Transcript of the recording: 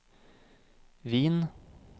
Wien